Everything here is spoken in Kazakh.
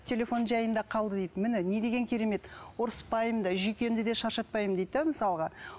телефон жайында қалды дейді міне не деген керемет ұрыспаймын да жүйкемді де шаршатпаймын дейді де мысалға